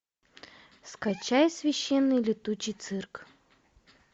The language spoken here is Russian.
скачай священный летучий цирк